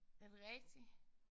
Er det rigtigt?